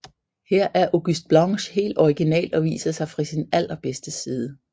Her er August Blanche helt original og viser sig fra sin allerbedste side